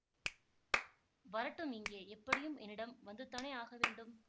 வரட்டும் இங்கே எப்படியும் என்னிடம் வந்துதானே ஆக வேண்டும்